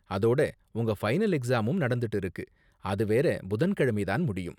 அதோட உங்க ஃபைனல் எக்ஸாமும் நடந்துட்டு இருக்கு, அது வேற புதன்கிழமை தான் முடியும்.